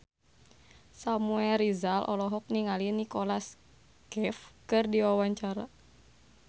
Samuel Rizal olohok ningali Nicholas Cafe keur diwawancara